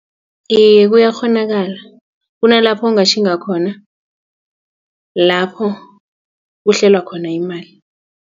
Iye, kuyakghonakala kunalapho ungatjhinga khona lapho kuhlelwa khona imali.